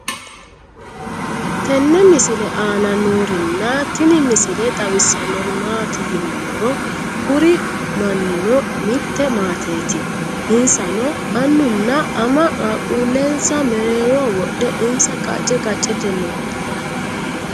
tenne misile aana noorina tini misile xawissannori maati yinummoro kuri maninno mitte maatteetti insanno annunna ama qaaquulensa mereerroho wodhe insa qacce qacceette noo